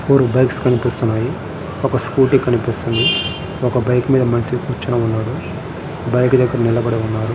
Four bikes కనిపిస్తున్నాయి. ఒక Scooty కనిపిస్తుంది. ఒక బైక్ మీద ఒక మనిషి కూర్చొని ఉన్నాడు. బైక్ దగ్గర నిలబడి ఉన్నాడు.